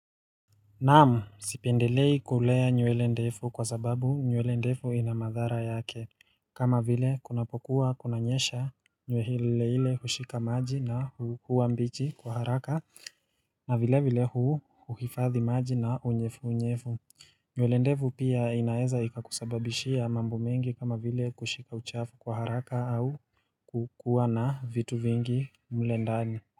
Naam, sipendelei kulea nywele ndefu kwa sababu nywele ndefu ina madhara yake. Kama vile, kunapokuwa kunanyesha nywele ile hile hushika maji na huwa mbichi kwa haraka na vile vile huhifadhi maji na unyevu unyevu. Nywele ndefu pia inaeza ikakusababishia mambo mengi kama vile kushika uchafu kwa haraka au kukuwa na vitu vingi mle ndani.